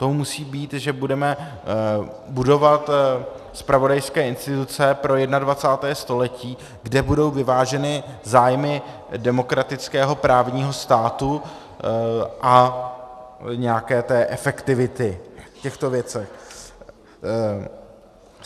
To musí být, že budeme budovat zpravodajské instituce pro 21. století, kde budou vyváženy zájmy demokratického právního státu a nějaké té efektivity v těchto věcech.